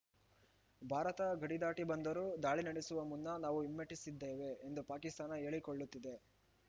ಭಾರತ ಗಡಿ ದಾಟಿ ಬಂದರೂ ದಾಳಿ ನಡೆಸುವ ಮುನ್ನ ನಾವು ಹಿಮ್ಮೆಟ್ಟಿಸಿದ್ದೇವೆ ಎಂದು ಪಾಕಿಸ್ತಾನ ಹೇಳಿಕೊಳ್ಳುತ್ತಿದೆ